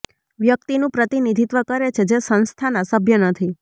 વ્યક્તિનું પ્રતિનિધિત્વ કરે છે જે સંસ્થાના સભ્ય નથી